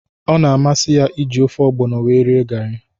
Ọ na-amasị ya- iji ofe ọgbono wee rie gari